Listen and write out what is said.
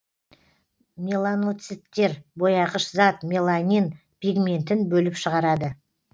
меланоциттер бояғыш зат меланин пигментін бөліп шығарады